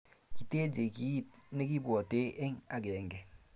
kiteje kit nekibwati eng' akenge